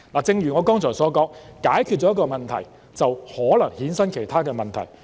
正如我剛才所說，解決了一個問題，就可能衍生其他問題。